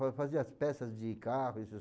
Fa fazia as peças de carro, essas